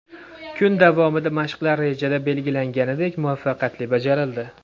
Kun davomida mashqlar rejada belgilanganidek muvaffaqiyatli bajarildi.